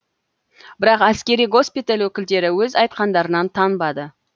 бірақ әскери госпиталь өкілдері өз айтқандарынан танбады